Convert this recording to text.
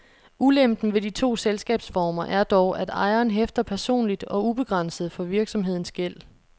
Ulempen ved de to selskabsformer er dog, at ejeren hæfter personligt og ubegrænset for virksomhedens gæld.